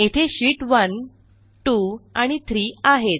येथे शीत1 2 आणि 3 आहेत